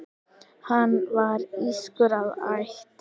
Hann var írskur að ætt.